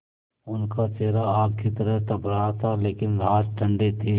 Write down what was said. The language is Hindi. उनका चेहरा आग की तरह तप रहा था लेकिन हाथ ठंडे थे